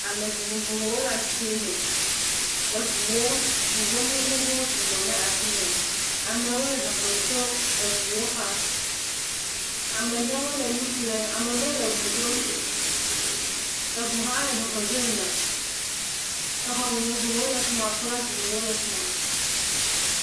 Ame vovovowo le asime, eŋu gbogbogbowo sɔgbɔ ɖe asi me, amewo le zɔzɔm to eŋa xa, amewo le nu ƒlem amewo le eŋua ɖom, eŋa le zɔzɔm dzo yina, exɔ vovovowo le fi ma flag vovovowo le fi ma.